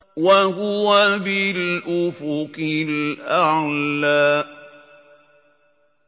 وَهُوَ بِالْأُفُقِ الْأَعْلَىٰ